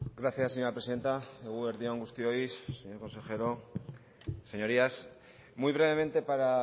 gracias señora presidenta eguerdi on guztioi señor consejero señorías muy brevemente para